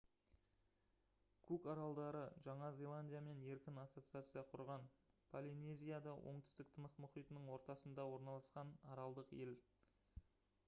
кук аралдары жаңа зеландиямен еркін ассоциация құрған полинезияда оңтүстік тынық мұхитының ортасында орналасқан аралдық ел